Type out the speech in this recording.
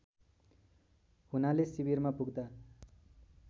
हुनाले शिविरमा पुग्दा